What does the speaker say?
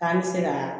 K'an bɛ se ka